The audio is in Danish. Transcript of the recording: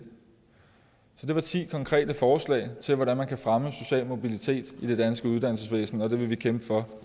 der var ti konkrete forslag til hvordan man kan fremme social mobilitet i det danske uddannelsesvæsen og det vil vi kæmpe for